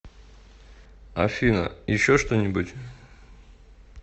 афина еще что нибудь